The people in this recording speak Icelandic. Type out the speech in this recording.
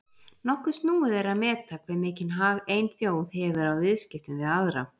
Nokkuð snúið er að meta hve mikinn hag ein þjóð hefur af viðskiptum við aðra.